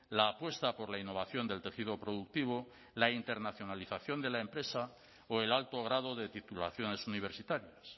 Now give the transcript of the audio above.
la apuesta por la innovación del tejido productivo la internacionalización de la empresa o el alto grado de titulaciones universitarias